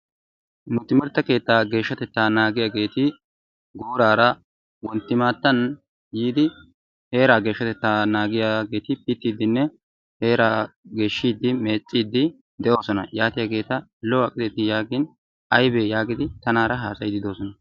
Nu timirtte keettaa geeshshatettaa naagiyageeti guurara wonti maatan yiidi heetaa geeshshatettaa naagiyaeeti pitiidinne heeraa geeshidi meeciidi de'oosona. yaatiyageeta lo'o aqideti yaagin aybee yaagidi tanaara haasayiidi de'oosona.